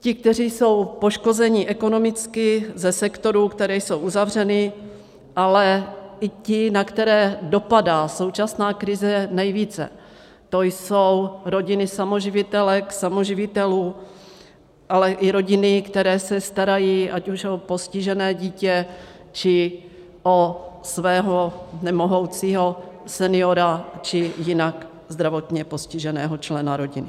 Ti, kteří jsou poškozeni ekonomicky ze sektorů, které jsou uzavřeny, ale i ti, na které dopadá současná krize nejvíce, to jsou rodiny samoživitelek, samoživitelů, ale i rodiny, které se starají ať už o postižené dítě, či o svého nemohoucího seniora, či jinak zdravotně postiženého člena rodiny.